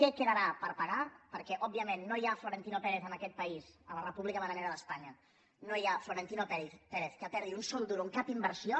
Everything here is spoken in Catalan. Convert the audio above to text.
que quedarà per pagar perquè òbviament no hi ha florentino pérez en aquest país a la república bananera d’espanya no hi ha florentino pérez que perdi un sol duro en cap inversió